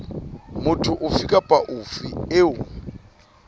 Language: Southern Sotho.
motho ofe kapa ofe eo